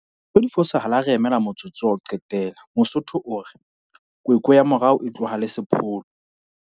Dintho di fosahala ha re emela motsotso wa ho qetela! Mosotho o re, kwekwe ya morao e tloha le sepolo!